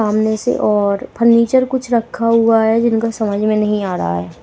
सामने से और फर्नीचर कुछ रखा हुआ है जिनका समझ में नहीं आ रहा है।